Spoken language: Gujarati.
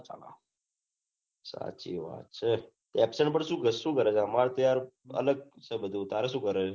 સાચી વાત છે absent પન સુ કરે આમાર ત્યાં અલગ છે બઘુ તારે શું કરે હે